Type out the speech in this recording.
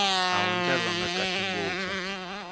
a wu ndlariwangi kahle ngopfu